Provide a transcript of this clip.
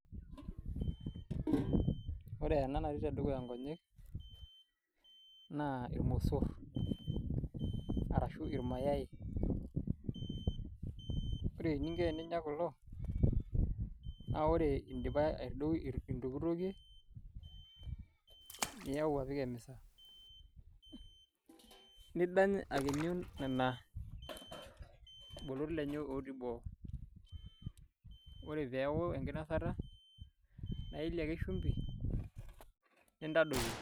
Ore ena natii dukuya inkonyek naa ilmosor, arashu ilmayai. Ore eninko pee inya kulo, naa ore indipa aitokitokie, niyau apik emeza, nidany akinyu lelo bolot lenye otii boo. Ore peaku enkinosata, naa ielie ake shumbi, nindadoyio.